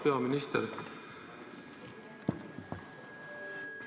Auväärt peaminister!